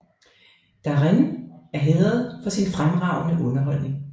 Darin er hædret for sin fremragende underholdning